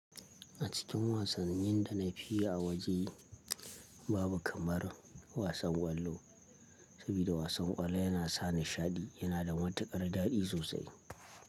A cikin wasannin da na fi yi a waje babu kamar wasan kwallo, saboda wasan kwallo yana sa nishaɗi yana da matuƙar daɗi sosai.